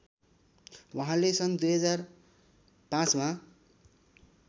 उहाँले सन २००५ मा